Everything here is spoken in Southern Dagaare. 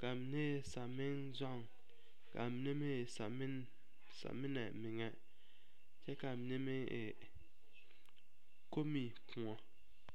ka a mine e samenzɔŋ ka a mine meŋ e sameŋ samena meŋa kyɛ ka a mine meŋ e komekoɔ.